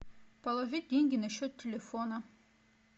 положить деньги на счет телефона